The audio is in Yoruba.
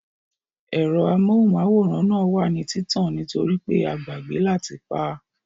Ẹ̀rọ amóhùnmáwòrán náà wà ní títàn nítorípé a gbàgbẹ́ láti pá